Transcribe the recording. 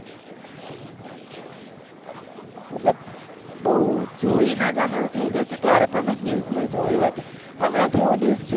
મતલબ બૌ જોયી નેજ આમ થય ગયું હતું ત્યારે મેં news માં જોયું હતું હમણા થી હું news